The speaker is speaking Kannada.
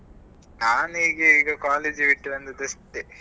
ನಾನ್ ಈಗ ಈಗ college ಬಿಟ್ಟು ಬಂದದ್ದು ಅಷ್ಟೇ.